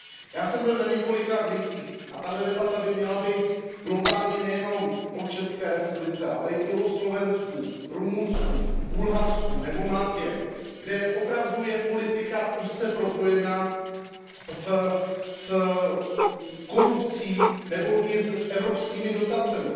Já jsem byl na několika misích a tato debata by měla být globálně nejenom o České republice, ale i o Slovensku, Rumunsku, Bulharsku nebo Maltě, kde je politika opravdu úzce propojená s korupcí nebo i evropskými dotacemi.